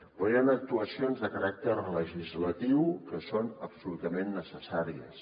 però hi han actuacions de caràcter legislatiu que són absolutament necessàries